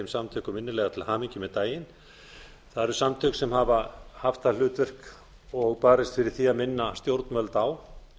samtökum innilega til hamingju með daginn það eru samtök sem hafa haft það hlutverk og barist fyrir því að minna stjórnvöld á